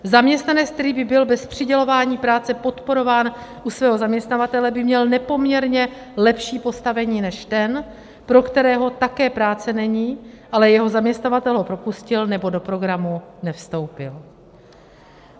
Zaměstnanec, který by byl bez přidělování práce podporován u svého zaměstnavatele, by měl nepoměrně lepší postavení než ten, pro kterého také práce není, ale jeho zaměstnavatel ho propustil nebo do programu nevstoupil.